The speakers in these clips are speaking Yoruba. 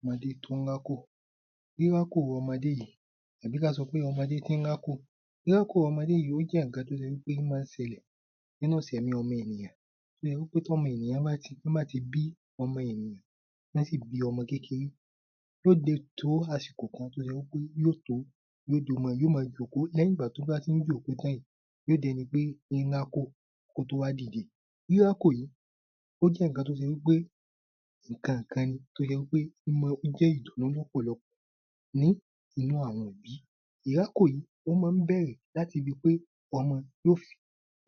Ọmọdé tó ń rákò: Rírákò ọmọdé yìí tàbí ká sọ pé ọmọdé tí ń rákò. Rírákò ọmọdé yìí ó jẹ́ nǹkan tó ṣe wí pé ó máa ń ṣẹlẹ̀ nínú ìsẹ̀mìí ọmọ ènìyàn, tó ṣe wí pẹ́ tọ́mọ ènìyàn bá ti, tọ́n bá ti bí ọmọ ènìyàn, tọ́n sí bí ọmọ kékeré yóò dẹ̀ tó àsìkò kan tó ṣe wí pé yóò tó yóò máa jókòó lẹ́yìn tó bá ti ń jókòó tán ìí, yóò dẹni tí ń rákò kó tó wà dìde. Rírákò yìí ó jẹ́ nǹkan tó ṣe wí pé nǹkan kan ni tó ṣe wí pé ó jẹ́ ìdùnnú lọ́pọ̀lọ́pọ̀ nínú àwọn òbí, rírákò yìí ó máa ń bẹ̀rẹ̀ láti ibi pé ọmọ yóò fi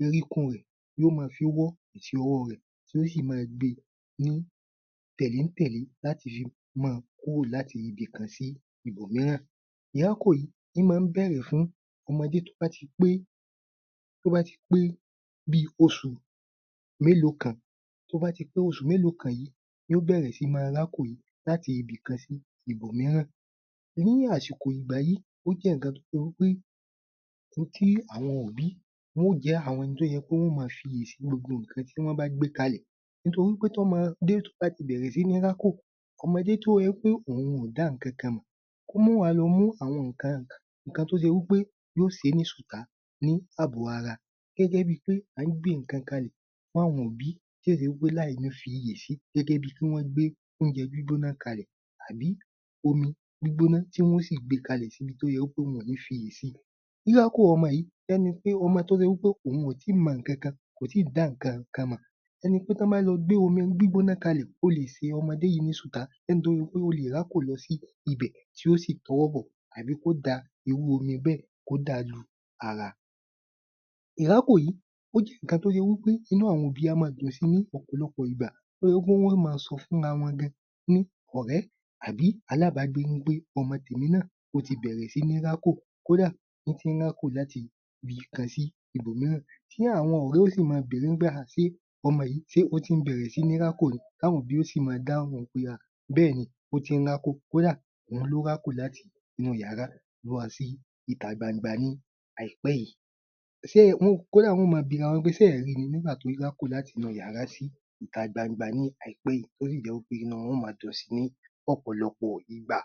oríkún rẹ̀ yóò máa fi wọ́ àti ọwọ́ rẹ tí yóò sí máa gbe ní tẹ̀lé-ń-tẹ̀lé láti fi máa kúrò láti ibikan sí ibòmíràn, rírákò yìí ń máa ń bẹ̀rẹ̀ fún ọmọdé tó bá ti pé tó bá ti pé bí oṣù mélòó kan tó bá ti pé oṣù mélòó kan yìí yóò bẹ̀rẹ̀ sí í máa rákò yìí láti ibikan sí ibòmíràn. Ní àsìkò ìgbà yìí, ó jẹ nǹkan tí ó jẹ pé n tí àwọn òbí wọn ó jẹ́ àwọn ẹni tó ye pé wọn ó máa fi ìyè sì gbogbo nǹkan tí wọn bá gbé kalẹ̀, nítorí tí ọmọdé tó bá a ti bẹ̀rẹ̀ sí ní rákò, ọmọdé tí ó jẹ pé òun ò dá nǹkan kan mọ̀, kó máa wà lọ mú àwọn nǹkan, nǹkan tó ṣe wí pé yóò ṣe é ní ṣùtá ní àbọ̀ ara gẹ́gẹ́ bí pé à ń gbé nǹkan kalẹ̀ fún àwọn òbí tí ò ń ṣe wí pé láìní fi iyè sí gẹ́gẹ́ bíi kí wọ́n gbé oúnjẹ gbígbóná kalẹ̀ àbí omi gbígbóná tí wọn ó sì gbé e kalẹ̀ síbi tó yẹ wí pé wọn ò ní fi iyè sí. Rírákò ọmọ yìí, bí ẹni pé ọmọ tó ṣe wí pé òun ò tíì mọ nǹkan kan, kò tíì dá nǹkan kan mọ̀, ìyẹn ni pé tí wọn bá a lọ gbé omi gbígbóná kalẹ̀, ó lé ṣe ọmọdé yìí ni ṣùtá, ẹni tó ṣe pé ó lè rákò lọ sí ibẹ̀ tí yóò sì tọwọ́ bọ tàbí kí ó dà irú omi bẹ́ẹ̀ kí ó dà á lu ara. Ìrákò yìí, ó jẹ nǹkan tó ṣe wí pé inú àwọn òbí a máa dùn sí i ní ọ̀pọ̀lọpọ̀ ìgbà, tí ó jẹ pé wọn máa sọ fúnra wọn gan-an pé ọ̀rẹ́ tàbí alábàgbé pé ọmọ tèmi náà ó tí bẹ̀rẹ̀ sí ní rákò, kódà ń ti ń rákò láti ibikan sí ibòmíràn, kódà àwọn ọ̀rẹ́ gan yóò sí máa bẹ̀rẹ̀ wí pé ọmọ yìí ṣe ó ti bẹ̀rẹ̀ sí ní rákò ni ti àwọn òbí yóò sí máa dáhùn pé bẹ́ẹ̀ ni, ó ti ń rákò, kódà òun ló rákò láti inú ìyàrá lọ sí ìta gbangba yìí láìpẹ́ yìí, kódà wọn yóò máa bi ara wọn wí pé ṣe ẹ́ ó ri ni nígbà tí ó ń rákò láti inú ìyàrá sí ìta gbangba láìpẹ́ yìí, tí ó sí jẹ wí pé inú wọn yóò máa dùn sí lọ́pọ̀lọ́pọ̀ ìgbà.